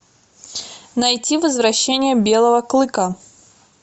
найти возвращение белого клыка